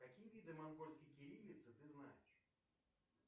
какие виды монгольской кириллицы ты знаешь